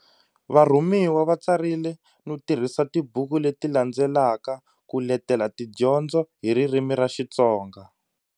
Varhumiwa va tsarile no tirhisa tibuku leti landzelaka ku letela tidyondzo hi ririmi ra Xitsonga.